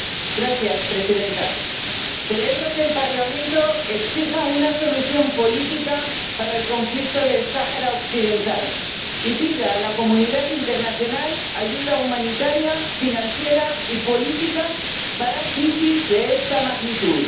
Señora Presidenta, celebro que el Parlamento exija una solución política para el conflicto del Sáhara Occidental y pida a la comunidad internacional ayuda humanitaria, financiera y política para crisis de esta magnitud.